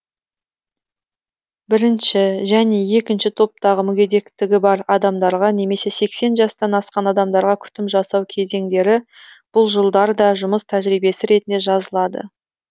біірінші және екінші топтағы мүгедектігі бар адамдарға немесе сексен жастан асқан адамдарға күтім жасау кезеңдері бұл жылдар да жұмыс тәжірибесі ретінде жазылады